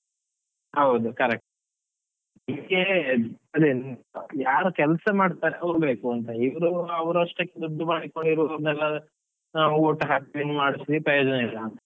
ಹೌದು correct . ಇದಕ್ಕೆ ಅದೇ ಯಾರು ಕೆಲಸ ಮಾಡ್ತಾರೆ ಅವರು ಬೇಕು, ಅಂತ ಇವ್ರು ಅವ್ರಷ್ಟಕ್ಕೆ ದುಡ್ಡು ಮಾಡಿಕೊಳ್ಳುವವರಿಗೆ ನಾವು vote ಹಾಕ್ಸಿ ಮಾಡ್ಸಿ ಪ್ರಯೋಜನ ಇಲ್ಲ.